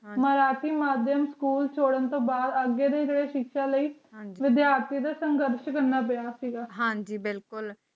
ਹਵਾਲਾਤੀ ਮਾਧਿਅਮ ਸਕੂਲ ਤੋੜਨ ਤੋਂ ਬਾਅਦ ਅੱਗੇ ਦਾ ਰਸਤਾ ਲਈ ਆਰਥਿਕ ਸਿਧਾਂਤ ਹਾਂ ਜੀ ਬਿਲਕੁਲ